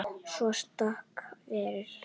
Svo takk fyrir okkur.